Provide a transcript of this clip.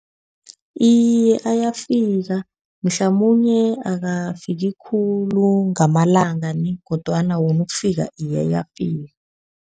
Iye ayafika. Mhlamunye akafiki khulu ngamalanga nie, kodwana wona ukufika, iye ayafika.